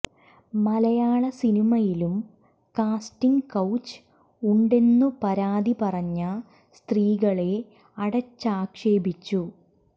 മലയാള സിനിമയിലും casting couch ഉണ്ടെന്നു പരാതി പറഞ്ഞ സ്ത്രീകളെ അടച്ചാക്ഷേപിച്ചു